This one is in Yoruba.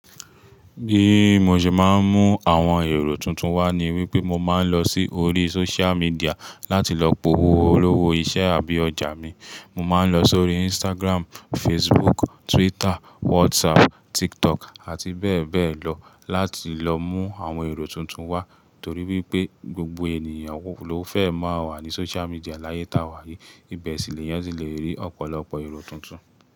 Bií mo ṣe máa ń mú àwọn èrò tuntun wá ni wípé mo máa ń lọ sí orí social media láti lọ powóo olówó iṣẹ́ àbí ọjà mi. Mo máa ń lọ sórí Instagram, Facebook, Twitter, WhatsApp, TikTok àti bẹ́ẹ̀ bẹ́ẹ̀ lọ láti lọ mú àwọn èrò tuntun wá. Torí wípé gbogbo ènìyàn ló fẹ́ máa wà ní social media láyé táa wà yìí. Ibẹ̀ sì l'eyan ti lè rí ọ̀pọ̀lọpọ̀ èrò tuntun.